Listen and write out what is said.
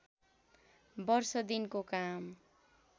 वर्ष दिनको काम